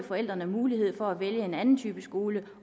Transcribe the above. forældrene mulighed for at vælge en anden type skole